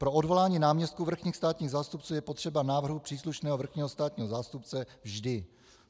Pro odvolání náměstků vrchních státních zástupců je potřeba návrhu příslušného vrchního státního zástupce vždy.